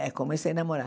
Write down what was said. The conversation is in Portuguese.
É, comecei a namorar.